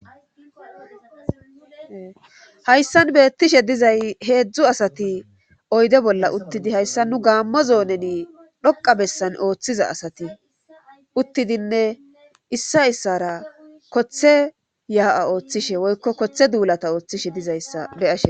hayssan beettishe dizay heedzdzu asati oydde bolla uttidi hayssa nu gaammo zooneni dhoqqa bessan ooththiza asati uttidinne issa issara kothe yaa'a ooththishe woykko kothe duulata ooththishe dizayssa be'ashe